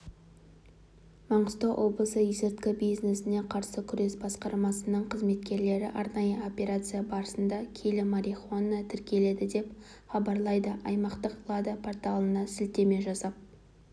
маңғыстау облысы есірткі бизнесіне қарсы күрес басқармасының қызметкерлері арнайы операция барысында келі марихуана тәркіледі деп хабарлайды аймақтық лада порталына сілтеме жасап